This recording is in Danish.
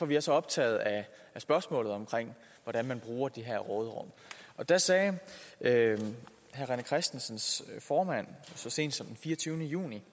vi er så optaget af spørgsmålet om hvordan man bruger det her råderum der sagde herre rené christensens formand så sent som den fireogtyvende juni